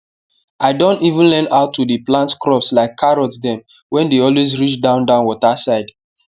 i don even learn how to dey plant crops like carrot dem wey dey always reach down down water side